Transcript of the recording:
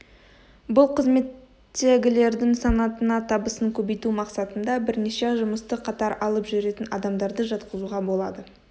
бұл қызметтегілердің санатына табысын көбейту мақсатында бірнеше жұмысты қатар алып жүретін адамдарды жатқызуға болады